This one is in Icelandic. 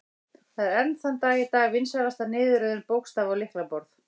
Það er enn þann dag í dag vinsælasta niðurröðun bókstafa á lyklaborð.